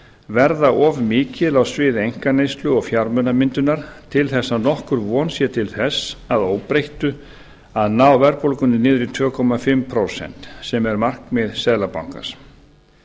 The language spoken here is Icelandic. verða of mikil á sviði einkaneyslu og fjármunamyndunar til þess að nokkur von sé til þess að óbreyttu að ná verðbólgunni niður í tvö og hálft prósent sem er markmið seðlabankans